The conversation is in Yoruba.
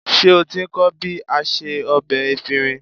Ṣé o ti ń kọ́ bí a se ọbẹ efinrin?